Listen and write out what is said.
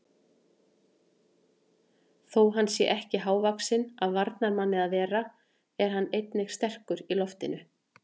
Þó hann sé ekki hávaxinn af varnarmanni að vera er hann einnig sterkur í loftinu.